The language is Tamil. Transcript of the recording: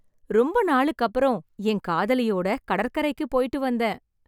ரொம்ப நாளுக்கு அப்புறம் என் காதலியோட கடற்கரைக்கு போயிட்டு வந்தேன்.